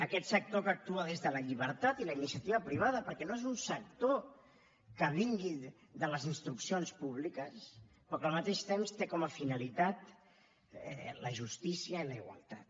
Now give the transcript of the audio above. aquest sector que actua des de la llibertat i la iniciativa privada perquè no és un sector que vingui de les instruccions públiques però que al mateix temps té com a finalitat la justícia i la igualtat